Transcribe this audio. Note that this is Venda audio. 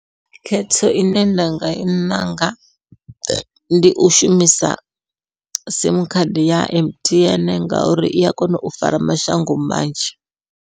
Khetho ine nda nga i ṋanga, ndi u shumisa simu khadi ya M_T_N ngauri ia kona u fara mashango manzhi.